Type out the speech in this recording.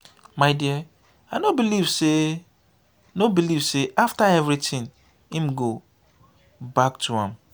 my dear i no believe say no believe say after everything im go back to am.